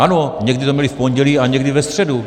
Ano, někdy to měli v pondělí a někdy ve středu.